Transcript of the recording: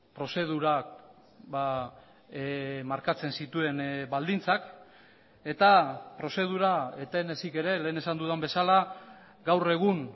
prozedurak markatzen zituen baldintzak eta prozedura eten ezik ere lehen esan dudan bezala gaur egun